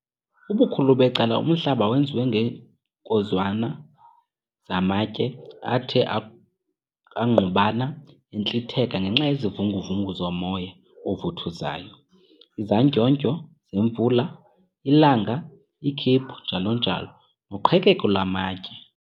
Ubukhulu becala umhlaba wenziwe ngeenkozwana zamatye athe angqubana entlitheka ngenxa yezivungu-vungu zomoya ovuthuzayo, izandyondyo zemvula, ilanga, ikhephu, njalo-njalo, noqhekeko lwamatye.